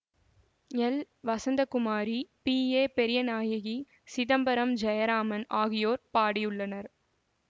L Vasanthakumari P A Periyanayaki Chidambaram Jayaraman ஆகியோர் பாடியுள்ளனர்